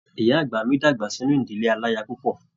Ìyá àgbà mí dàgbà sínú ìdílé alaya púpọ.